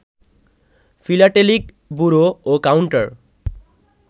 philatelic bureau ও counter